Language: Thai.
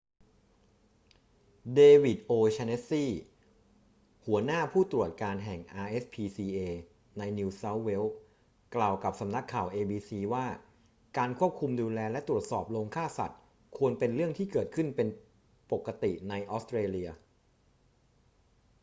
เดวิด โอ'แชนเนสซี หัวหน้าผู้ตรวจการแห่ง rspca ในนิวเซาท์เวล กล่าวกับสำนักข่าว abc ว่าการควบคุมดูแลและตรวจสอบโรงฆ่าสัตว์ควรเป็นเรื่องที่เกิดขึ้นเป็นปกติในออสเตรเลีย